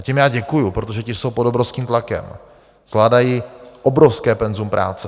A těm já děkuji, protože ti jsou pod obrovským tlakem, zvládají obrovské penzum práce.